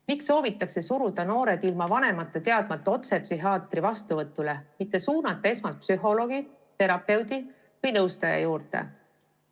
Miks soovitakse suruda noored ilma vanemate teadmata otse psühhiaatri vastuvõtule, mitte suunata esmalt psühholoogi, terapeudi või nõustaja juurde?